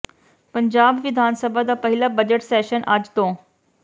ਪੰਜਾਬ ਵਿਧਾਨ ਸਭਾ ਦਾ ਪਹਿਲਾ ਬਜਟ ਸੈਸ਼ਨ ਅੱਜ ਤੋਂ